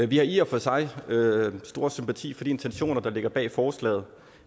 vi har i og for sig stor sympati for de intentioner der ligger bag forslaget